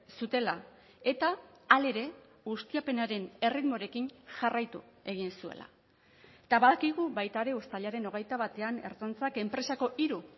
zutela eta hala ere ustiapenaren erritmorekin jarraitu egin zuela eta badakigu baita ere uztailaren hogeita batean ertzaintzak enpresako hiru